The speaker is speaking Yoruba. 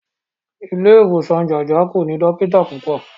Ilé ìwòsan Jájà kò ní dọ́kítà púpọ̀.